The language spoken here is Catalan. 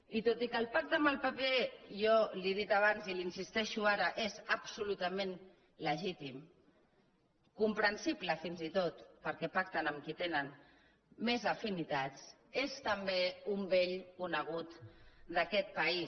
i tot i que el pacte amb el pp jo li ho he dit abans i hi insisteixo ara és absolutament legítim comprensible fins i tot perquè pacten amb qui tenen més afinitats és també un vell conegut d’aquest país